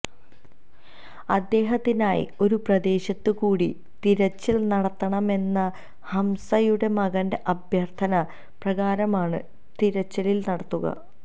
അദ്ദേഹത്തിനായി ഒരുപ്രദേശത്ത് കൂടി തിരച്ചില് നടത്തണമെന്ന ഹംസയുടെ മകന്റെ അഭ്യര്ഥന പ്രകാരമാണ് തിരച്ചില് നടത്തുക